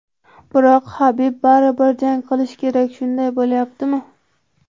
Biroq Habib baribir jang qilishi kerak shunday bo‘lyaptimi?